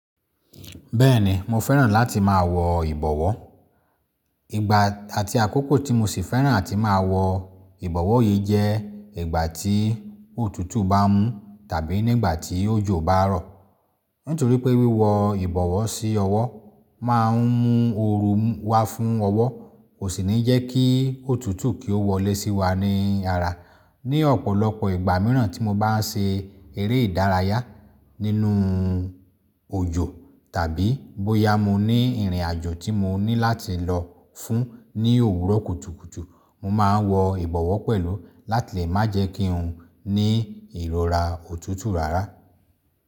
Bẹ́ẹ̀ni mo fẹ́ràn láti máa wọ ìbọ̀wọ́. Ìgbà àti àkókò tí mo sì fẹ́ràn àti máa wọ ìbọ̀wọ́ yìí jẹ́ ìgbà tí òtútù bá mú tàbí nígbà tí òjò bá rọ̀. Nítorí pé wíwọ ìbọ̀wọ́ sí ọwọ́ máa ń mú ooru wá fún ọwọ́, kò sì ní jẹ́ kí òtútù kí ó wọlé sí wa ní ara. Ni ọ̀pọ̀lọpọ̀ ìgbà míràn tí mo bá ń ṣe eré ìdárayá nínú òjò tàbí bóyá mo ní ìrìnàjò tí mo ní láti lọ fún ní òwúrọ̀ kùtùkùtù, mo máa wọ ìbọ̀wọ́ pẹ̀lú láti lè má jẹ́ kí ń ní ìrora òtútù rárá.